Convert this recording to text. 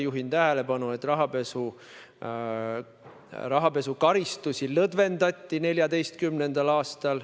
Juhin tähelepanu, et 2014. aastal rahapesukaristusi lõdvendati.